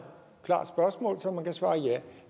klart spørgsmål som man kan svare ja